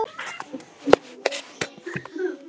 Og þó!